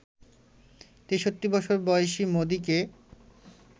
৬৩ বছর বয়সী মোদিকে